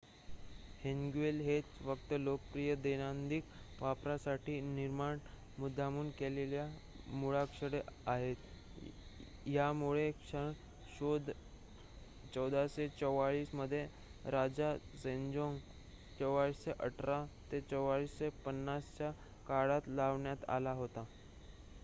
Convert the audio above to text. Hangul हेच फक्त लोकप्रिय दैनंदिन वापरासाठी निर्माण मुद्दामहून केलेली मुळाक्षरे आहेत. या मुळाक्षरांचा शोध 1444 मध्ये राजा सेजोंग 1418 – 1450 च्या काळात लावण्यात आला होता